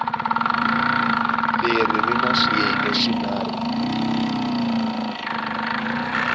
leri ri na swiyenge swinharhu